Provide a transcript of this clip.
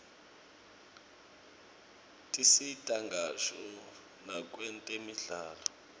tisita ngisho nakwetemidlalo